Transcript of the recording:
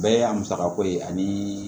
Bɛɛ y'a musakako ye ani